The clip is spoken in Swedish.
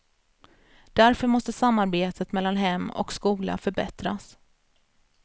Därför måste samarbetet mellan hem och skola förbättras.